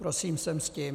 Prosím sem s tím.